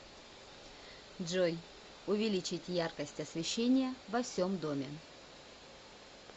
джой увеличить яркость освещения во всем доме